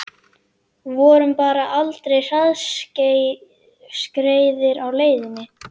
Vorum bara aldrei hraðskreiðir á leiðinni